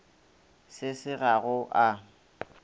se se ga go a